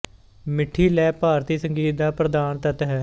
ਮਿੱਠੀ ਲੈਅ ਭਾਰਤੀ ਸੰਗੀਤ ਦਾ ਪ੍ਰਧਾਨ ਤੱਤ ਹੈ